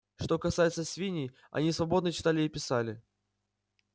что касается свиней они свободно читали и писали